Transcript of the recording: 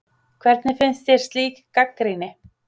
Hvernig finnst þér slík gagnrýni?